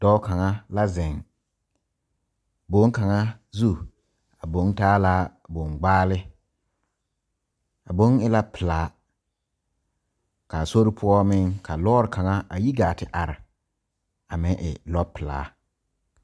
Dɔɔ kaŋa la zeŋ koge kaŋa zu o taa boŋbaale a boŋ e la pilaa kaa sore poɔ meŋ kaa lɔɔre kaŋa a yi gaa te are a meŋ e lɔpilaa.